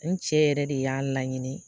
N cɛ yɛrɛ de y'a laɲini